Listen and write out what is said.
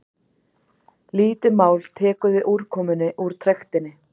lítið mál tekur við úrkomunni úr trektinni